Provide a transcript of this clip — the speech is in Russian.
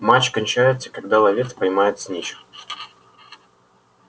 матч кончается когда ловец поймает снитч